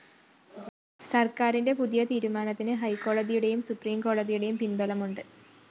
സര്‍ക്കാരിന്റെ പുതിയ തീരുമാനത്തിന് ഹൈക്കോടതിയുടെയും സുപ്രീം കോടതിയുടെയും പിന്‍ബലമുണ്ട്